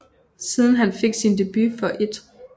Siden han fik sin debut for 1